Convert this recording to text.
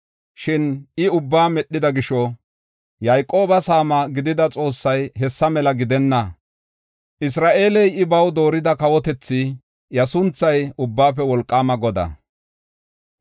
Shin I ubbaa medhida gisho, Yayqooba Saama gidida Xoossay hessa mela gidenna; Isra7eeley, I baw doorida kawotethi; iya sunthay Ubbaafe Wolqaama Godaa.